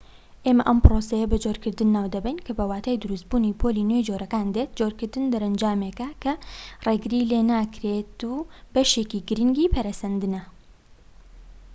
ئێمە ئەم پرۆسەیە بە جۆرکردن ناو دەبەین کە بەو واتای دروست بوونی پۆلی نوێی جۆرەکان دێت جۆرکردن دەرەنجامیێکە کە ڕێگری لێ ناکرێت و بەشێکی گرنگی پەرەسەندنە